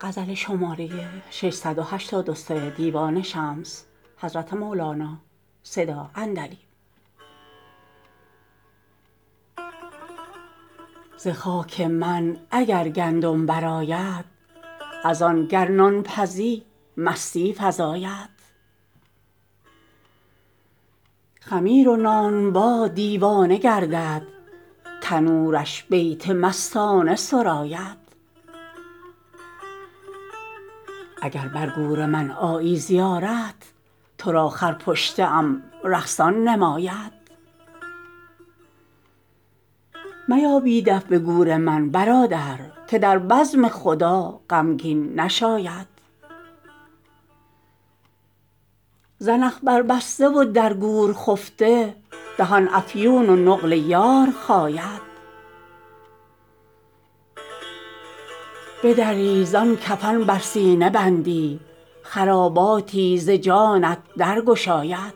ز خاک من اگر گندم برآید از آن گر نان پزی مستی فزاید خمیر و نانبا دیوانه گردد تنورش بیت مستانه سراید اگر بر گور من آیی زیارت تو را خرپشته ام رقصان نماید میا بی دف به گور من برادر که در بزم خدا غمگین نشاید زنخ بربسته و در گور خفته دهان افیون و نقل یار خاید بدری زان کفن بر سینه بندی خراباتی ز جانت درگشاید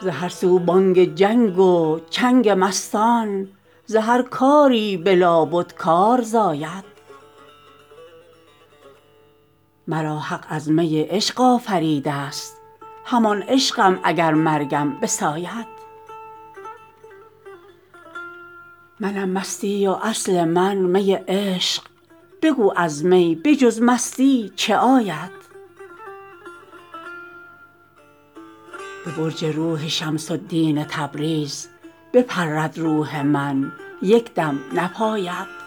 ز هر سو بانگ جنگ و چنگ مستان ز هر کاری به لابد کار زاید مرا حق از می عشق آفریده ست همان عشقم اگر مرگم بساید منم مستی و اصل من می عشق بگو از می به جز مستی چه آید به برج روح شمس الدین تبریز بپرد روح من یک دم نپاید